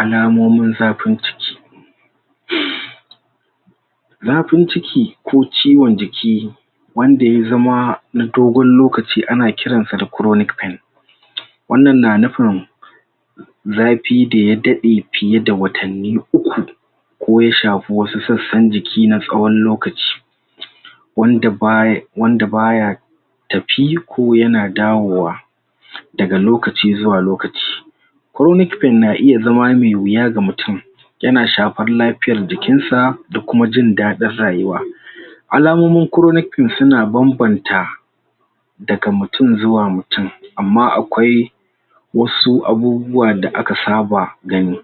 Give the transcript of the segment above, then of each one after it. Al'amomin zafin ciki zafin ciki ko ciwon jiki wanda ya zama na dogon lokaci a na kiran sa da kronic pain. Wanna na nufin zafi da ya dade fiye da watani uku ko ya shafi wasu, tsatsan jiki na tsawon lokaci wanda baya, wanda baya tafiko ya na dawowa, da ga lokaci zuwa lokaci. Kronic pain na iya zama me wiya ga mutum, ya na shafan lafiyar jikin sa, da kuma jindadin rayuwa. Al'amomin Kronic pain su na banbanta da ga mutum zuwa mutum, amma akwai wasu abubuwa da aka saba gani.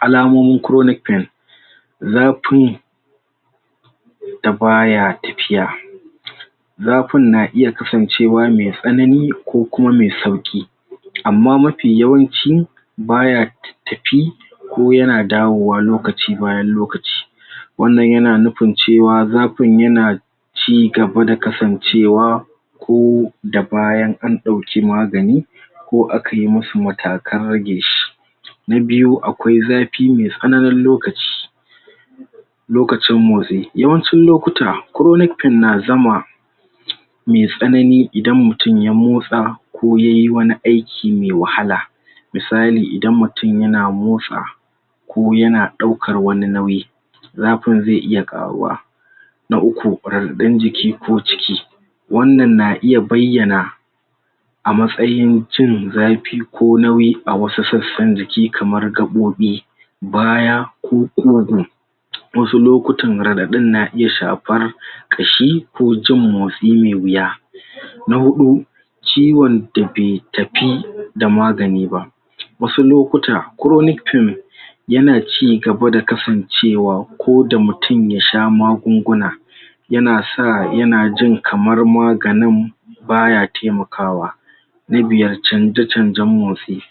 Al'amomin zafin da baya tafiya zafin na iya kasancewa me tsanani ko uma me sauki amma mafi yawanci baya tatafi ko yana dawowa lokaci bayan lokaci. Wannan ya na nufin cewa zafin yana cigaba da kasancewa ko da bayan an dauki magani ko akayi masu matakan rage shi. Na biyu, akwai zafi me tsananin lokaci. Lokacin motsi, yawancin lokuta kronic pain na zama me tsanani idan mutum ya motsa ko yayi wani aiki me wahala. Misali idan mutum ya na motsa ko ya na daukar wani nauyi zafin ze iya karuwa. Na uku, raɗaɗan jiki ko ciki wannan na iya bayana a matsayin cin zafi ko nauyi a wasu tsatsan jiki kamar gaɓobi baya ko wasu lokutan raɗaɗan na iya shafar kashi ko jin motsi me wiya. Na hudu ciwon da be tafi da magani ba wasu lokuta kroni pain ya na cigaba da kasancewa ko da mutum ya sha magunguna ya na sa, ya na jin kamar maganin baya taimakawa. Na biyar canja-canjan motsi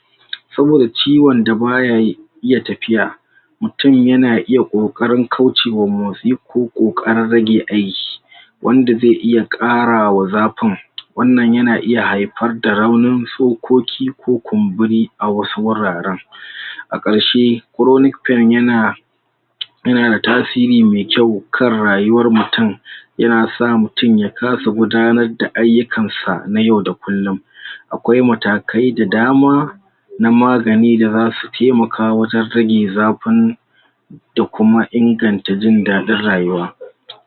saboda ciwon da baya, iya tafiya. Mutum ya na iya kokarin kwace wa motsi ko karan rage aiki. Wanda ze iya kara wa zafin wannan ya na iya haifar da raunin tsoƙoƙi ko kunburi a wasu wuraren. A karshe kronic pain ya na ya na da tasiri me kyau kan rayuwar mutum ya na sa mutum ya kasa gudanar da ayukan sa na yau da kullum. Akwai matakai da dama na magani da zasu taimaka wajen rage zafin da kuma inganta jindadin rayuwa.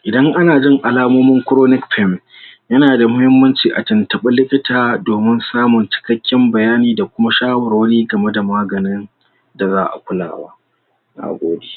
Idan ana jin al'amomin kronic pain, ya na da muhimmanci a tuntunba likita domin samun cikaken bayani da kuma shawarwari game da maganin da za'a kulawa. Nagode.